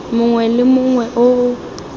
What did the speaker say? mongwe le mongwe o o